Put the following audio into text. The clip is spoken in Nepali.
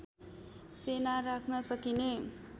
सेना राख्न सकिने